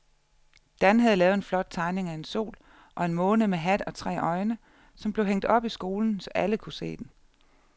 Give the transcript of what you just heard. Dan havde lavet en flot tegning af en sol og en måne med hat og tre øjne, som blev hængt op i skolen, så alle kunne se den.